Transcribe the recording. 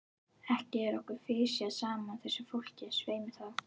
Ekki er okkur fisjað saman, þessu fólki, svei mér þá!